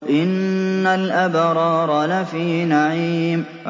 إِنَّ الْأَبْرَارَ لَفِي نَعِيمٍ